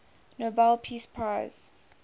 nobel peace prize